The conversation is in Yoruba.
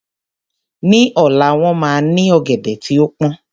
Ní ọ̀la, wọ́n máa ní ọ̀gẹ̀dẹ̀ tí ó pọn